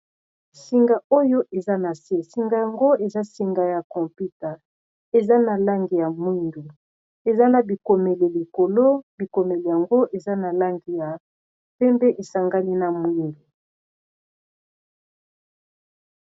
Singa oyo eza nase, singa yango eza singa ya computer eza na langi ya mwingu eza na bikomele likolo bikomele yango eza na lange ya pembe esangani na mwindu.